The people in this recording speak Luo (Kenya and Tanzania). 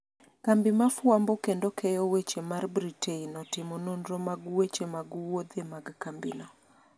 kambi ma fwambo kendo keyo weche mar Britain otimo nonro mag weche mag wuodhe mag kambino